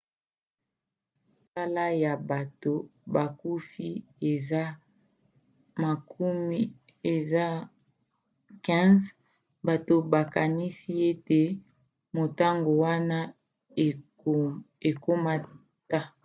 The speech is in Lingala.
talo ya bato bakufi eza 15 bato bakanisi ete motango wana ekomata